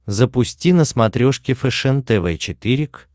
запусти на смотрешке фэшен тв четыре к